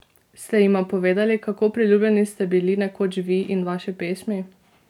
Ste jima povedali, kako priljubljeni ste bili nekoč vi in vaše pesmi?